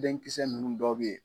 Denkisɛsɛ ninnu dɔw bɛ yen